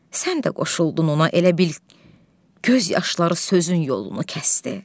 Sən də qoşuldun ona, elə bil göz yaşları sözün yolunu kəsdi.